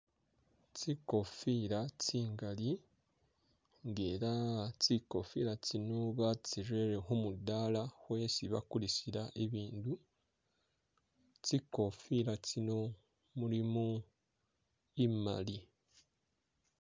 Tsikofila tsingali nga ela tsikofila tsino batsirele khumudaala kwesi bakulisila ibindu tsikofila tsino mulimu imali.